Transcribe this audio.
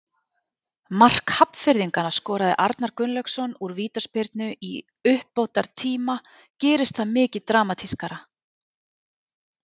Mark Hafnfirðinganna skoraði Arnar Gunnlaugsson úr vítaspyrnu í uppbótartíma- gerist það mikið dramatískara?